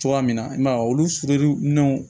Cogoya min na i ma ye olu